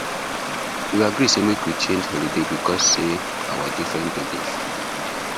we agree say make we change holiday because say our different belief